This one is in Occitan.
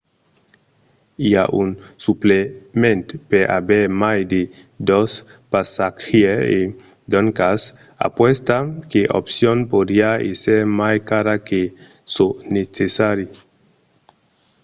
i a un suplement per aver mai de 2 passatgièrs e doncas aquesta opcion podriá èsser mai cara que çò necessari